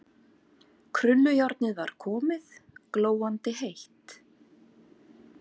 Krullujárnið var komið, glóandi heitt.